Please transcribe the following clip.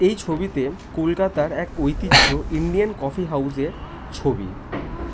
এই ছবি তে কলকাতার এক ঐতিহ্য ইন্ডিয়ান কফি হাউস -এর ছবি।